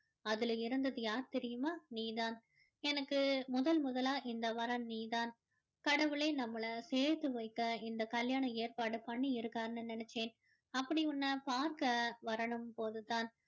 அதுல இருந்தது யார் தெரியுமா நீ தான் எனக்கு முதல் முதலா வந்த வரன் நீதான் கடவுளே நம்மல சேர்த்து வைக்க இந்த கல்யாணம் ஏற்பாடு பண்ணி இருக்காருன்னு நினைச்சேன் அப்படி உன்னை பார்க்க வரும் போது தான்